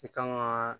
I kan ŋaa